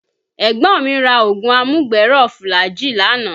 Ẹ̀gbọ́n mi ra oògùn amúgbẹ̀ẹ́ rọ̀ fulajii lánàá